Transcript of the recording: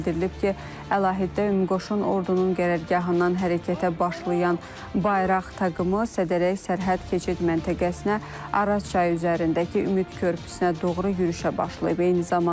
Bildirilib ki, əlahiddə ümüqoşun ordunun qərargahından hərəkətə başlayan bayraq taqımı Sədərək sərhəd keçid məntəqəsinə Araz çayı üzərindəki Ümid körpüsünə doğru yürüşə başlayıb.